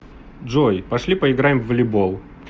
джой пошли поиграем в волейбол